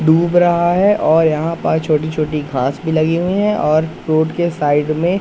डूब रहा है और यहां पास छोटी छोटी घास भी लगी हुई हैं और रोड के साइड में--